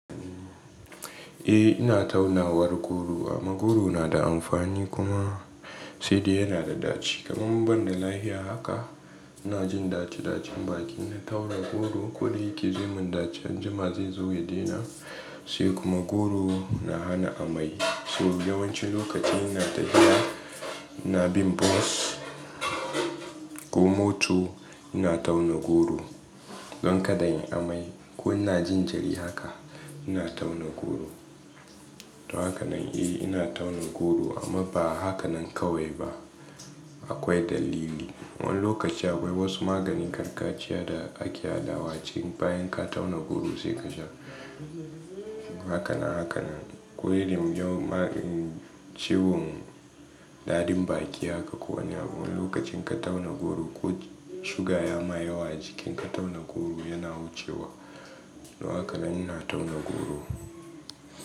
Eh ina tauna war goro amma goro na da amfani kuma sai dai yana da ɗaci kamar ban da lafiya haka ina jin ɗaci ɗacin baki. Na tauna goro ko da yake zaimin ɗaci an jima zai zo ya daina sai kuma goro na hana amai. So yawancin lokaci ina tafiya ina bin bus ko mota ina tauna goro don kada in yi amai ko ina jin jiri haka ina tauna goro. To haka nan eh ina tauna goro amma ba haka nan kawai ba akwai dalili. Wani lokaci akwai wasu maganin gargajiya da ake haɗawa ci bayan ka tauna goro sai ka sha. Haka na haka nan ko irin magani cewan daɗin baki haka ko wani abu wani lokacin ka tauna goro ko suga ya ma yawa jikin ka tauna goro yana wucewa to haka nan ina tauna goro.